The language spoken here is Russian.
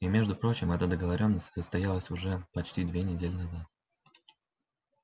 и между прочим эта договорённость состоялась уже почти две недели назад